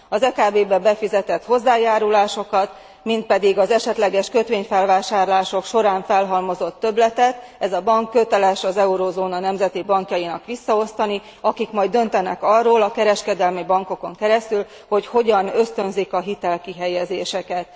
Az EKB be befizetett hozzájárulásokat és az esetleges kötvényfelvásárlások során felhalmozott többletet ez a bank köteles az euróövezet nemzeti bankjainak visszaosztani, amelyek majd döntenek arról, hogy a kereskedelmi bankokon keresztül hogyan ösztönzik a hitelkihelyezéseket.